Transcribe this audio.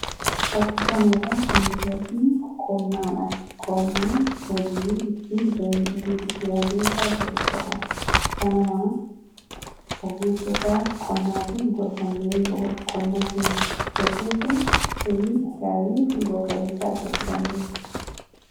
Fakkii kana irraa kan nuti arginu qonnaa dha. Qonnaan hojii ittiin jireenya ofii jijjiiran keessaa isa tokko dha. Kanumaa ogeessota qonnaatiin gorfamnee yoo qonna keenya geggeessine firii gaarii fi bu'a-qabeessa argachuu dandeenya.